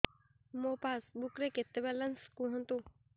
ମୋ ପାସବୁକ୍ ରେ କେତେ ବାଲାନ୍ସ କୁହନ୍ତୁ